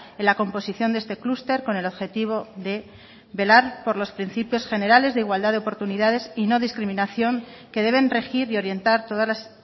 en la composición de este clúster con el objetivo de velar por los principios generales de igualdad de oportunidades y no discriminación que deben regir y orientar todas las